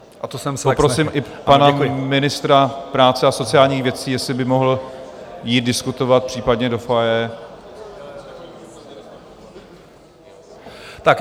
Poprosím i pana ministra práce a sociálních věcí, jestli by mohl jít diskutovat případně do foyer.